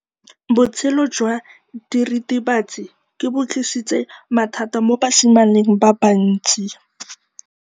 Botshelo jwa diritibatsi ke bo tlisitse mathata mo basimaneng ba bantsi.